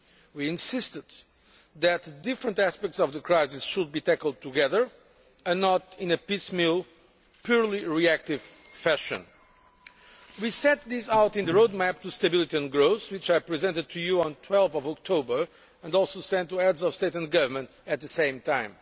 We insisted that the different aspects of the crisis should be tackled together and not in a piecemeal, purely reactive fashion. We set this out in the Roadmap to Stability and Growth which I presented to you on 12 October and also sent to Heads of State and Government at the same time.